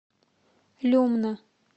люмна